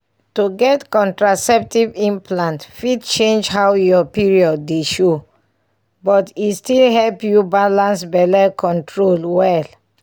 to get contraceptive implant fit change how your period dey show — but e still help you balance belle control well.